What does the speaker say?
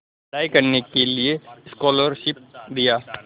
पढ़ाई करने के लिए स्कॉलरशिप दिया